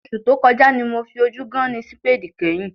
Oṣù tó kọjá ni mo fi ojú gán-án-ní sípéèdì kányìn